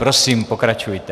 Prosím, pokračujte.